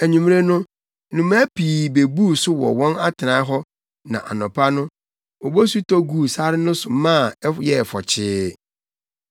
Anwummere no, nnomaa pii bebuu so wɔ wɔn atenae hɔ na anɔpa no, obosu tɔ guu sare no so maa ɛyɛɛ fɔkyee.